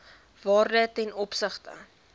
waarde ten opsigte